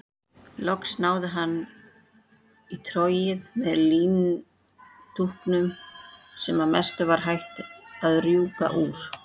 Loks náði hann í trogið með líndúkunum sem að mestu var hætt að rjúka úr.